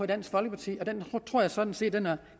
dansk folkeparti og den tror jeg sådan set er